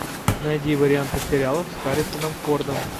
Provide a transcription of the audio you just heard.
найди варианты сериалов с харрисоном фордом